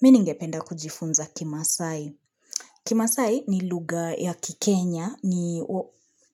Miningependa kujifunza kimasai. Kimasai ni lugha ya ki Kenya, ni